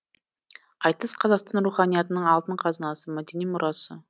айтыс қазақтың руханиятының алтын қазынасы мәдени мұрасы